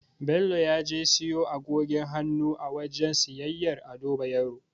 Bello ya je ya siyo agogin hannu a wajen siyayyar Ado Bayero.